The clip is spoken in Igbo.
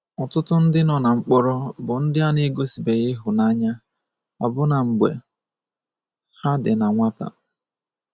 Ọtụtụ ndị nọ na mkpọrọ bụ ndị a na-gosibeghi ịhụnanya, ọbụna mgbe ha dị na nwata.